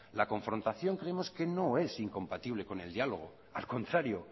la confrontación creemos que no es incompatible con el diálogo al contrario